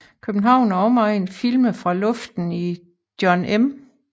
København og Omegn filmet fra Luften i John M